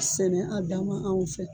Sɛnɛ a dama anw fɛ